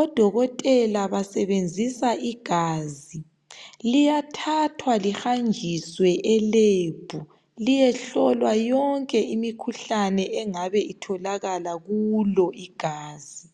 odokotela basebenzisa igazi liyathathwa lihanjiswe elab liyehlolwa yonke imikhuhlane engabe itholakala kulo igazi.